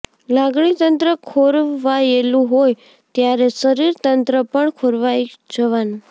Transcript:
લાગણીતંત્ર ખોરવાયેલું હોય ત્યારે શરીરતંત્ર પણ ખોરવાઈ જવાનું